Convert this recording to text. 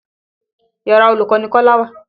Yàra olùkọ́ ni Kọ́lá wà.